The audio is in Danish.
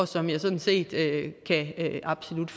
som jeg sådan set absolut